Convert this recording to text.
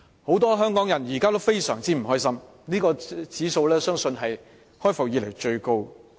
很多香港人現時仍然非常不開心，有關指數相信是開埠以來最高的。